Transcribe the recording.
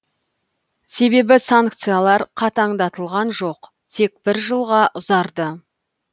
себебі санкциялар қатаңдатылған жоқ тек бір жылға ұзарды